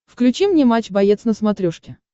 включи мне матч боец на смотрешке